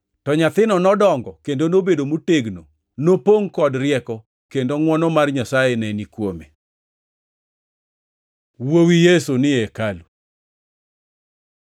To nyathino nodongo kendo nobedo motegno; nopongʼ kod rieko, kendo ngʼwono mar Nyasaye ne ni kuome. Wuowi Yesu ni e hekalu